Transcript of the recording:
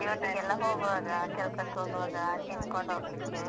duty ಗೆಲ್ಲ ಹೋಗುವಾಗ, ಕೆಲ್ಸಕ್ಕೆ ಹೋಗುವಾಗ ತಿನ್ಕೊಂಡು ಹೋಗ್ಲಿಕ್ಕೆ.